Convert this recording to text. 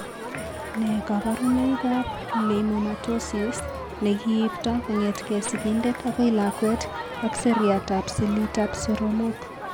Nee kabarunoikab Leiomyomatosis ne kiipto kong'etke sigindet akoi lakwet ak seriatab selitab soromok.